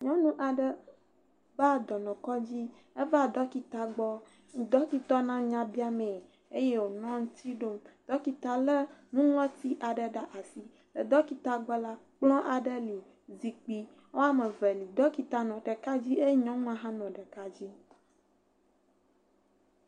Nyɔnu aɖe va dɔnɔkɔdzi, eva ɖɔkita gbɔ. Ɖɔkita nɔ nya bia mee eye wonɔ eŋuti ɖom. Ɖɔkita lé nuŋlɔti aɖe ɖe asi. Le ɖɔkita gbɔ la, kplɔ̃ aɖe li, zikpui woame eve li. Ɖɔkita nɔ ɖeka dzi eye nyɔnua hã nɔ ɖeka dzi.